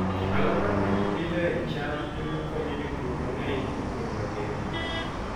Alwora ma ji pidhoe cham e ma konyo jopur mang'eny e piny mangima.